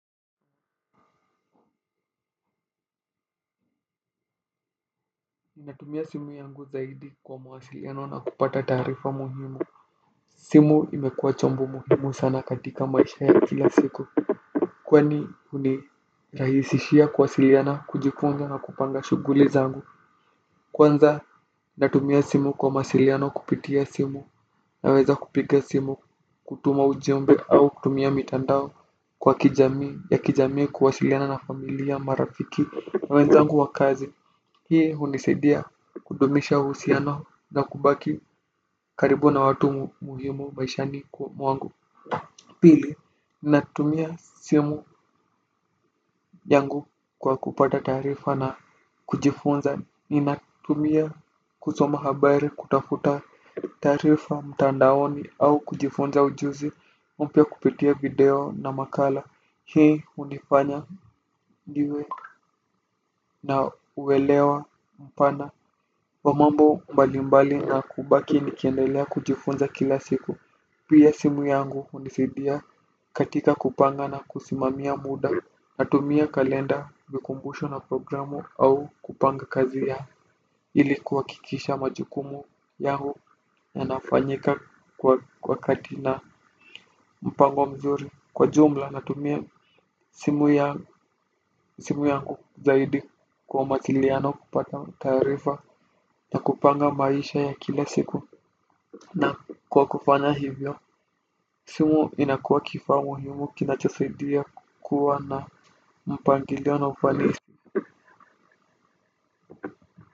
Ninatumia simu yangu zaidi kwa mawasiliano na kupata taarifa muhimu. Simu imekuwa chombo muhimu sana katika maisha ya kila siku. Kwani hunirahisishia kuwasiliana kujipanga na kupanga shuguli zangu. Kwanza natumia simu kwa mawasiliano kupitia simu. Naweza kupiga simu kutuma ujumbe au kutumia mitandao kwa kijami ya kijami kuwasiliana na familia marafiki na wenzangu wa kazi. Hii hunisaidia kudumisha uhusiano na kubaki karibu na watu muhimu maishani kwa mwangu. Pili, natumia simu yangu kwa kupata taarifa na kujifunza ninatumia kusoma habari kutafuta taarifa mtandaoni au kujifunza ujuzi. Mpya kupitia video na makala. Hii hunifanya niwe na uwelewa mpana wa mambo mbali mbali na kubaki nikiendelea kujifunza kila siku. Pia simu yangu hunisidia katika kupanga na kusimamia muda. Natumia kalenda vikumbusho na programu au kupanga kazi ya ili kuhakikisha majukumu yangu yanafanyika kwa wakati na mpango mzuri. Kwa jumla natumia simu yangu zaidi kwa mawasiliano kupata taarifa na kupanga maisha ya kila siku. Na kwa kufanya hivyo. Simu inakuwa kifaa muhimu kinachosaidia kukua na mpangilio na ufanisi.